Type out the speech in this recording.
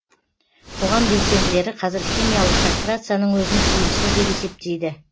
қоғам белсенділері қазір химиялық кастрацияның өзін тиімсіз деп есептейді